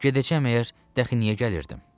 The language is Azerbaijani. Gedəcəm əgər, dəxi niyə gəlirdim?